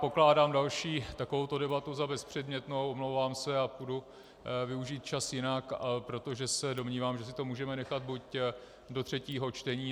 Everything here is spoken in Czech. Pokládám další takovouto debatu za bezpředmětnou, omlouvám se, a půjdu využít čas jinak, protože se domnívám, že si to můžeme nechat buď do třetího čtení.